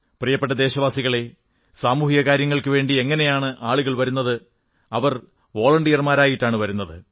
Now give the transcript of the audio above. പ്രിയപ്പെട്ട ദേശവാസികളേ സാമുഹിക കാര്യങ്ങൾക്കുവേണ്ടി എങ്ങനെയാണ് ആളുകൾ വരുന്നത് അവർ വോളണ്ടിയർമാരായിട്ടാണ് വരുന്നത്